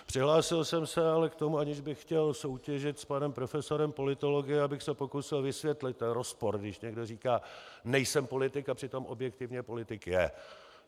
Přihlásil jsem se ale k tomu, aniž bych chtěl soutěžit s panem profesorem politologie, abych se pokusil vysvětlit ten rozpor, když někdo říká "nejsem politik", a přitom objektivně politik je.